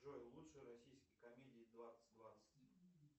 джой лучшие российские комедии двадцать двадцать